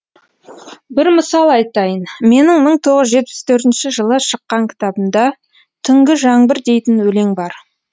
бір мысал айтайын менің мың тоғыз жүз жетпіс төртінші жылы шыққан кітабымда түнгі жаңбыр дейтін өлең бар